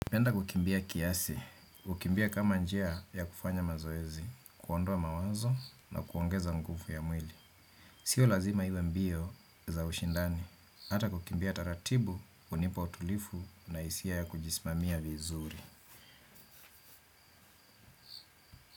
Naenda kukimbia kiasi, hukimbia kama njia ya kufanya mazoezi, kuondoa mawazo na kuongeza nguvu ya mwili. Sio lazima iwe mbio za ushindani, ata kukimbia taratibu, hunipa utulifu na isia ya kujismamia vizuri.